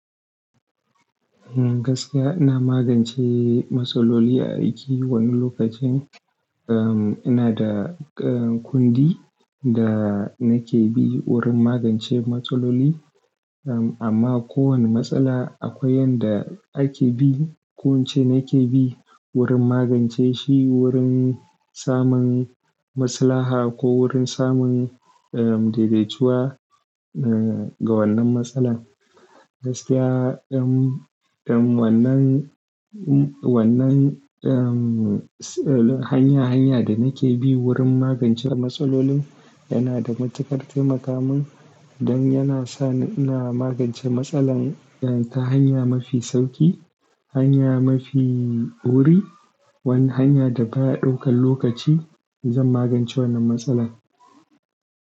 Gaskiya ina magance matsaloli, a aiki wani lokacin, um, ina da, uh, kundi da nake bi wurin magance matsaloli. Um, amma ko wani matsala akwai yanda ake bi. Kunce nake bi wurin magance shi, wurin samun maslaha ko wurin samun, um, dai-daituwa, uh, ga wannan matsala. Gaskiya, um, wannan, wannan, um, hanya-hanya da nake bi wurin magance matsalolin, yana da matuƙar taimakamun don yana sa ina magance matsalar ta hanya mafi sauƙi, hanya mafi wuri, wani hanya da baya ɗaukan lokaci in zan magance wannan matsala.